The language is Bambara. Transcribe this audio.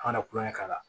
An kana kulonkɛ k'a la